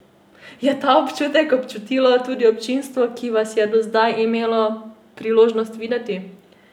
Je ta občutek občutilo tudi občinstvo, ki vas je do zdaj imelo priložnost videti?